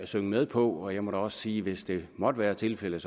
synge med på og jeg må da også sige at hvis det måtte være tilfældet